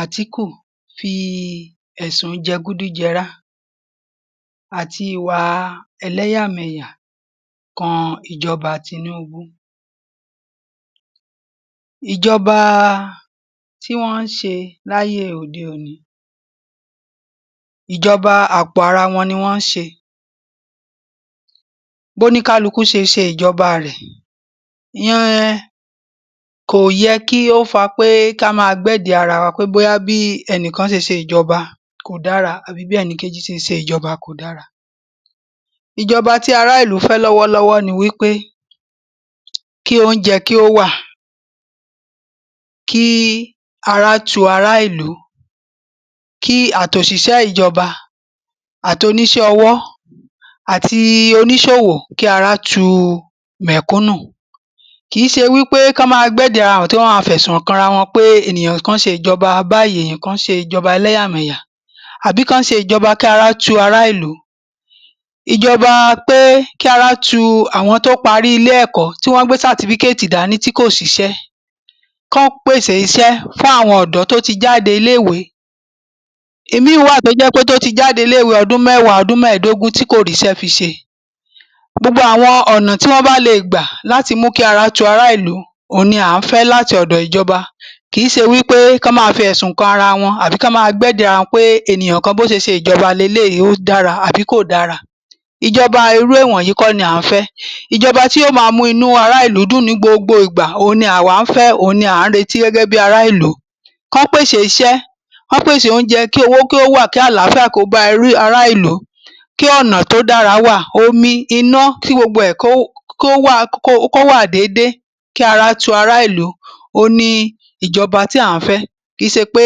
Àtíkù fi ẹ̀sun jẹgúdújẹrá àti ìwà ẹlẹ́yàmẹ̀yà kan ìjọba Tinúubú. Ìjọba tí wọ́n ń ṣe láyé òde-òní, ìjọba àpo ara wọn ni wọ́n ń ṣe. Bóníkálukú ṣe ṣe ìjọba rẹ̀ um kò yẹ kí ó fa pé ká máa gbẹ́dìí ara wa pé bóyá bí ẹnìkan ṣe ṣe ìjọba kò dára àbí bí ẹnìkejì ṣe ṣe ìjọba kò dára. Ìjọba tí ará ìlú fẹ́ lọ́wọ́lọ́wọ́ ni wípé kí oúnjẹ kí ó wà, kí araá tu ará ìlú, kí àtòṣìṣẹ́ ìjọba àtoníṣẹ́ ọwọ́ àti oníṣòwò, kí ara tu u mẹ̀kúnù. Kì í ṣe wípé ká máa gbẹ́dìí ara wa hàn tí wọ́n máa fẹ̀sùn kanra wọn pé ènìyàn kan ṣe ìjọba báyìí, ènìyàn kan ṣe ìjọba eḷẹ́yàmẹ̀yà tàbí k’ọ́n ṣe ìjọba kí ara tu ará ìlú, ìjọba pé kí ara tu àwọn tó parí ilé ẹ̀kọ́ tí wọ́n gbé dání tí kò síṣẹ́. K’ọ́n pèsè iṣẹ́ fún àwọn ọ̀dọ́ tó ti jáde ilé ìwé. Ìmíì wà tó jẹ́ pé tó ti jáde ilé ìwé ọdún mẹ́wàá, ọdún mẹ́ẹ̀dógún tí kò ríṣẹ́ fi ṣe. Gbogbo àwọn ònà tí wón bá lé è gbà láti mú kí ara tu ará ìlú òun ni à ń fẹ́ láti ọ̀dọ̀ ìjọba. Kìí ṣe wípé k’ọ́n máa fi ẹ̀sùn kan ara wọn àbí k’ọ́n máa gbẹ́dìí ara wọn pé ènìyàn kan bó ṣe ṣe ìjọba leléyìí, ó dára àbí kò dára. Ìjoba irú ìwọ̀nyí kọ́ ni à ń fẹ́. Ìjọba tó máa mú inú ara ìlú dún-ùn ní gbogbo ìgbà, òun ni àwa ń fẹ́, òun ni à ń retí gẹ́gẹ́ bí ará ìlú. K’ọ̀n pèsè iṣẹ́, k’ọ́n pèsè òunje, kí owó kí ó wà, kí àlááfíà kí ó bá um ará ìlú. Kí ọ̀nà tí ó dára kí ó wà, omi, iná, kí gbogbo ẹ̀ kó kó wà kó wà déédé, kí ara tu ará ìlú òun ni ìjọba tí à ń fẹ́. Kì í ṣe pé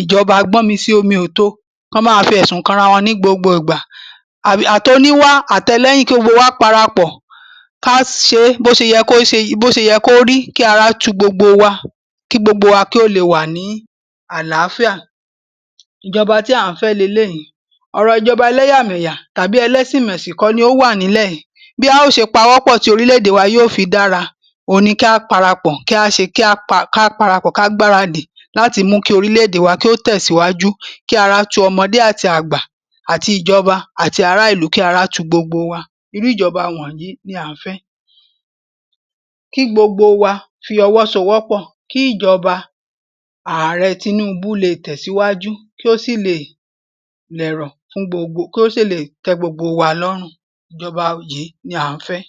ìjọba gbọ́mi sí omi ò to, k’ọ́n máa fi ẹ̀sùn kanra wọn ní gbogbo ìgbà um atoníwá àtẹlẹ́yìn kí gbogbo wa parapọ̀ ká ṣe bí o ṣe yẹ kó um bó ṣe yẹ kó rí. Kí ara tu gbogbo wa, kí gbogbo wa kí ó le wà ní àlááfíà. Ìjọba tí à ń fẹ́ leléyìí. Ọ̀rọ̀ ìjọba ẹlẹ́yàmẹ̀yà tàbí ẹlẹ́sìnmẹ̀sìn kọ́ ni ó wà nílẹ̀ yìí. Bí a ó ṣe pawọ́pọ̀ tí orílẹ̀ èdè wa yóò fi dára, òun ni kí á parapọ̀ kí á ṣe. Kí á pa ká parapọ̀, ká gbaradì láti mú kí orílẹ̀ èdè wa kí ó tẹ̀síwájú kí ara tu ọmọdé àti àgbà àti ìjoḅa àti ará ìlú. Kí ara tu gbogbo wa. Irú ìjọba wònyíì ni à ń fẹ́, kí gbogbo wa fi ọwọ́ sowọ́pọ̀ kí ìjọba Ààre Tinúubú le tẹ̀síwájú, kí ó sì lè dẹ̀rọ̣̀ fún gbogbo kí ó sì lè tẹ́ gbogbo wa lọ́rùn. Ìjọba yìí ni à ń fẹ́.